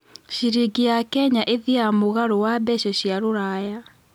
ciringi ya Kenya ĩthĩanga mũgaro wa mbeca cia rũraya